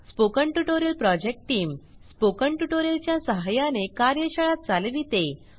spoken tutorial project team spoken tutorial च्या सहाय्याने कार्यशाळा चालविते